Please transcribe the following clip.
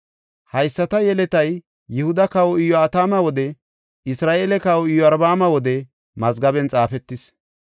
Hayisata yeletay Yihuda kawa Iyo7atama wode Isra7eele kawa Iyorbaama wode mazgaben xaafetis.